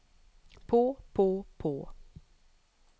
på på på